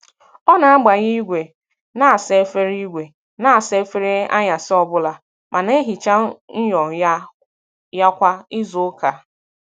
Ọ na-agbanye igwe na-asa efere igwe na-asa efere anyasị ọbụla ma na-ehicha myọ ya kwa izuụka.